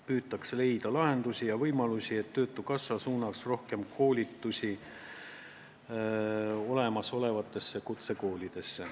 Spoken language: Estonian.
Püütakse leida lahendusi ja võimalusi, et töötukassa suunaks rohkem koolitusi olemasolevatesse kutsekoolidesse.